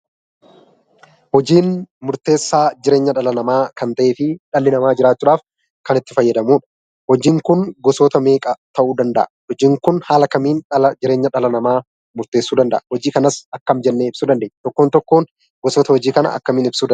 Hojiin murteessaa jireenya dhala namaa kan ta'ee fi dhalli namaa jiraachuudhaaf kan itti fayyadamu. Hojiin kun gosoota meeqa ta'uu danda'a? Hojiin kun haala kamiin jireenya dhala namaa murteessuu danda'a? Hojii kanas akkam jennee ibsuu dandeenya? Tokkoon tokkoon gosoota hojii kanaa akkamiin ibsuu dandeenya?